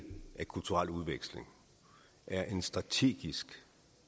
at kulturel udveksling er en strategisk